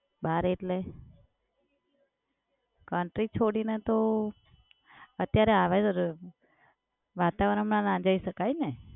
બહાર એટલે? country છોડીને તો અત્યારે આવા વાતાવરણ માં ના જઈ શકાય ને?